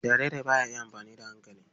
Jariri ba ya iya amfani da hankali.